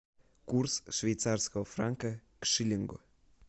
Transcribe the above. курс швейцарского франка к шиллингу